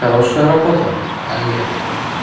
хорошая работа олег